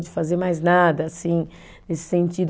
De fazer mais nada, assim, nesse sentido.